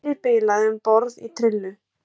Stýrið bilaði um borð í trillu